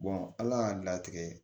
ala y'a latigɛ